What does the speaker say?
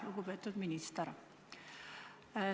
Lugupeetud minister!